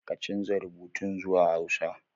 Ka canza rubutun zuwa hausa